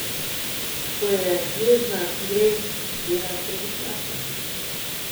Ko je jezna, gre delat trebušnjake.